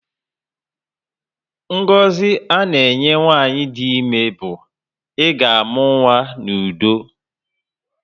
Ngọzi a na enye nwanyị dị ímé bu, "I ga amụ n'udo"